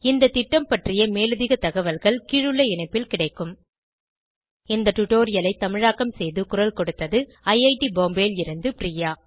இந்த திட்டம் பற்றிய மேலதிக தகவல்கள் கீழுள்ள இணைப்பில் கிடைக்கும் httpspoken tutorialorgNMEICT Intro இந்த டுடோரியலை தமிழாக்கம் செய்து குரல் கொடுத்தது ஐஐடி பாம்பேவில் இருந்து பிரியா